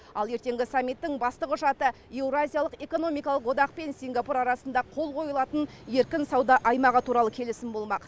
ал ертеңгі саммиттің басты құжаты еуразиялық экономикалық одақпен сингапур арасында қол қойылатын еркін сауда аймағы туралы келісім болмақ